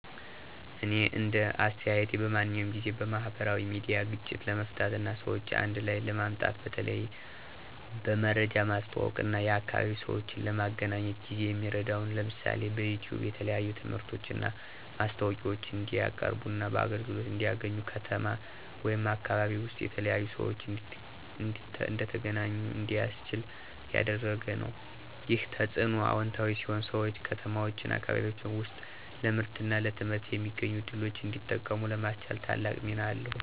እኔ እንደ አስተያየቴ በማንኛውም ጊዜ፣ ማህበራዊ ሚዲያ ግጭቶችን ለመፍታት እና ሰዎችን አንድ ላይ ለማምጣት በተለይ በመረጃ ማስተዋወቅ እና የአካባቢ ሰዎችን ለመገናኘት ጊዜ የሚረዳ ነው። ለምሳሌ፣ በዩቲዩብ የተለያዩ ትምህርቶችን እና ማስታወቂያዎችን እንዲቀያርቡና አገልግሎት እንዲያገኙ፣ ከተማ ወይም አካባቢ ውስጥ የተለያዩ ሰዎች እንዲተገናኙ እንዲያስችል ያደረገ ነው። ይህ ተጽዕኖ አዎንታዊ ሲሆን ሰዎች ከተማዎችና አካባቢዎች ውስጥ ለምርትና ለትምህርት የሚገኙ ዕድሎችን እንዲጠቀሙ ለማስቻል ታላቅ ሚና አለው።